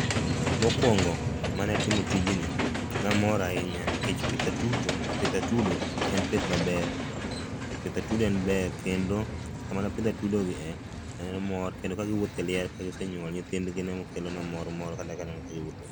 Mokuongo mane atimo tijni ne amor ahinya nikech pith atuto pith atudo en pith maber pith atudo en ber kendo sama ne apidho atudo gi ne en mor kendo ka giwuotho e liare kagise nyuol nyithindgi ne kelona mor mor kata ka aneno ka giwuotho